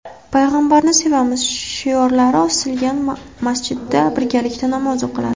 payg‘ambarni sevamiz” shiorlari osilgan masjidda birgalikda namoz o‘qiladi.